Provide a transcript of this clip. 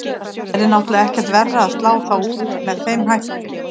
Það yrði náttúrulega ekkert verra að slá þá út með þeim hætti.